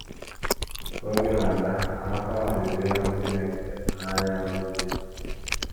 Ka oge na - aga, Amaka malitere ịhụ Chineke n’anya n’obi ya.